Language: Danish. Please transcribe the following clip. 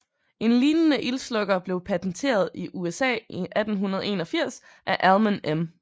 En lignende ildslukker blev patenteret i USA i 1881 af Almon M